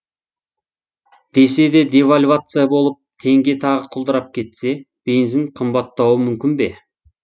десе де девальвация болып теңге тағы құлдырап кетсе бензин қымбаттауы мүмкін бе